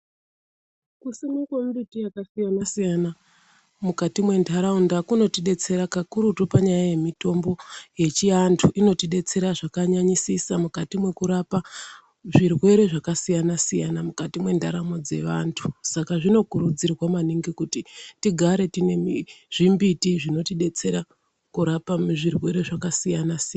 Kusimwa kwemimbiti yakasiyana siyana mukati mentaraunda kunotidetsera kakurutu panyaya yemitombo yechiantu inotidetsera zvakanyanyisisa mukati mekurapa zvirwere zvakasiyana siyana mukati mendaramo dzevantu saka zvinokurudzirwa maningi kuti tigare tine zvimbiti zvinotidetsera kurape zvirwere zvakasiyana-siyana.